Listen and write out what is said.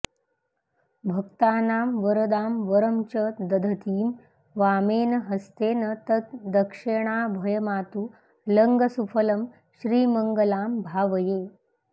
भक्तानां वरदां वरं च दधतीं वामेन हस्तेन तत् दक्षेणाभयमातुलङ्गसुफलं श्रीमङ्गलां भावये